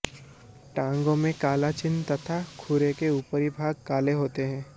टाँगों में काले चिह्न तथा खुरों के ऊपरी भाग काले होते हैं